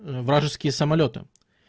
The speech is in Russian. вражеские самолёты